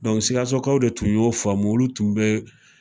Sikasokaw de tun y'o faamu, olu tun be taa.